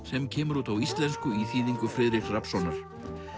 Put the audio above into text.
sem kemur út á íslensku í þýðingu Friðriks Rafnssonar